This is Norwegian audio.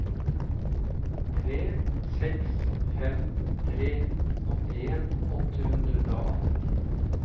tre seks fem tre åttien åtte hundre og atten